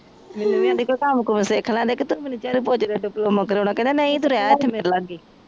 ਕਾਮ ਕੁਮ ਸਿਖ ਲੈਂਦੇ ਤੂੰ ਮੇਨੂ ਚਾਡੂ ਪੋਚੇ ਦਾ ਡਿਪਲੋਮਾ ਕਰੋਣਾ ਕਹਿੰਦਾ ਨਹੀਂ ਤੂੰ ਰੇਹ